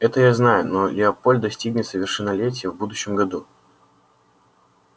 это я знаю но лепольд достигнет совершеннолетия в будущем году